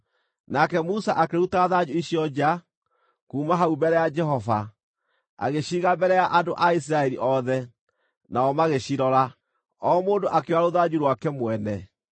Nake Musa akĩruta thanju icio nja, kuuma hau mbere ya Jehova, agĩciiga mbere ya andũ a Isiraeli othe. Nao magĩcirora, o mũndũ akĩoya rũthanju rwake mwene.